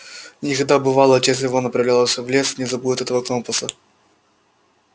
никогда бывало отец его направлялся в лес не забудет этого компаса